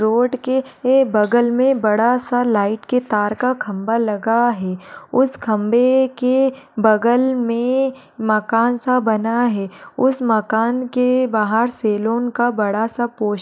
Road के ए बगल में बड़ा-सा लाइट के तार का खंभा लगा है उस खंभे के बगल में मकान-सा बना है। उस मकान के बाहर सेलोन का बड़ा-सा पोस्टर --